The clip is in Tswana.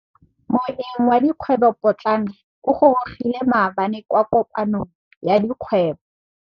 Moêng wa dikgwêbô pôtlana o gorogile maabane kwa kopanong ya dikgwêbô.